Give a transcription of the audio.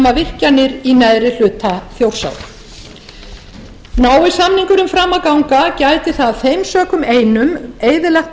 nema virkjanir í neðri hluta þjórsá nái samningurinn fram að ganga gæti það af þeim sökum einum eyðilagt